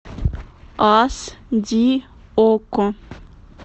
аш ди окко